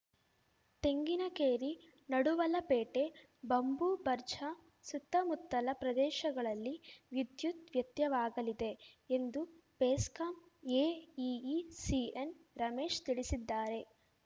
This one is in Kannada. ತೆಂಗಿನ ಕೇರಿ ನಡುವಲ ಪೇಟೆ ಬಂಬೂ ಬರ್ಜಾ ಸುತ್ತಮುತ್ತಲ ಪ್ರದೇಶಗಳಲ್ಲಿ ವಿದ್ಯುತ್‌ ವ್ಯತ್ಯವಾಗಲಿದೆ ಎಂದು ಬೆಸ್ಕಾಂ ಎಇಇ ಸಿಎನ್‌ ರಮೇಶ್‌ ತಿಳಿಸಿದ್ದಾರೆ